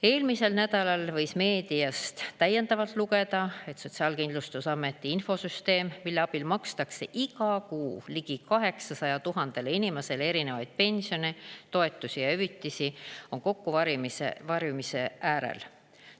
Eelmisel nädalal võis meediast täiendavalt lugeda, et Sotsiaalkindlustusameti infosüsteem, mille abil makstakse iga kuu ligi 800 000 inimesele erinevaid pensione, toetusi ja hüvitisi, on kokkuvarisemise äärel.